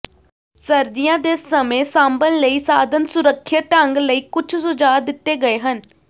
ਸਰਦੀਆਂ ਦੇ ਸਮੇਂ ਸਾਂਭਣ ਲਈ ਸਾਧਨ ਸੁਰੱਖਿਅਤ ਢੰਗ ਲਈ ਕੁੱਝ ਸੁਝਾਅ ਦਿੱਤੇ ਗਏ ਹਨ